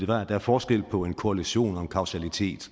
der er forskel på en korrelation og en kausalitet